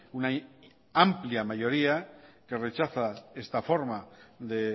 una amplia mayoría que rechaza esta forma de